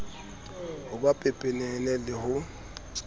ho ba pepenene le ho